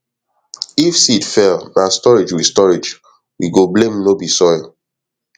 if seed fail na storage we storage we go blame no be soil